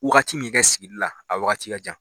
Wagati min kɛ sigili la a wagati ka jan.